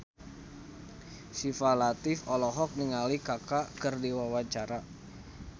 Syifa Latief olohok ningali Kaka keur diwawancara